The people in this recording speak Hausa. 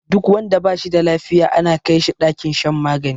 Duk wanda bashi da lafiya ana kai shi ɗakin shan magani